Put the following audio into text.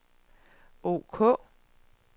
ok